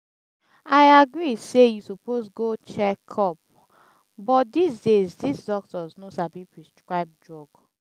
i agree say you suppose go check-up but dis days dis doctors no sabi prescribe drug